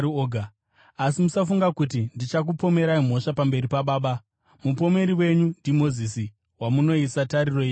“Asi musafunga kuti ndichakupomerai mhosva pamberi paBaba. Mupomeri wenyu ndiMozisi, wamunoisa tariro yenyu maari.